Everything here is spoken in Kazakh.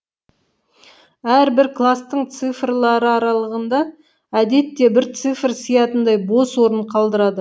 әрбір кластың цифрлары аралығында әдетте бір цифр сиятындай бос орын қалдырады